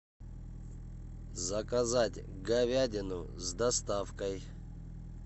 заказать говядину с доставкой